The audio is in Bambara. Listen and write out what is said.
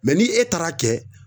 Mɛ ni e taar'a kɛ